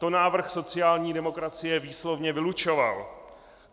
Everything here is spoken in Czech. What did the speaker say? To návrh sociální demokracie výslovně vylučoval.